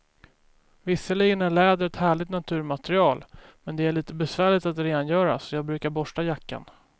Visserligen är läder ett härligt naturmaterial, men det är lite besvärligt att rengöra, så jag brukar borsta jackan.